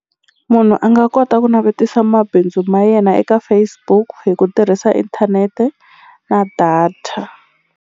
Munhu a nga kota ku navetisa mabindzu ma yena eka Facebook hi ku tirhisa inthanete na data.